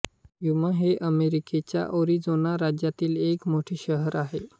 युमा हे अमेरिकेच्या एरिझोना राज्यातील एक मोठे शहर आहे